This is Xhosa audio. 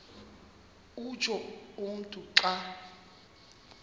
utsho umntu xa